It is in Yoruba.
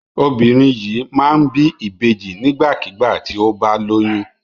Obìnrin yìí máa ń bí ìbejì nígbàkigbà tí ó bá lóyún.